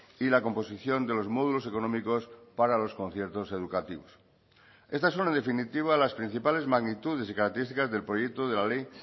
y la composición de los módulos económicos para los conciertos educativos estas son en definitiva las principales magnitudes y características del proyecto de la ley